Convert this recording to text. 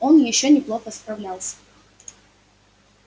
он ещё неплохо справлялся